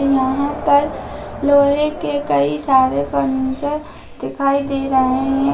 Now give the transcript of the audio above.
यहां पर लोहे की कई सारे फर्नीचर दिखाई दे रहें है।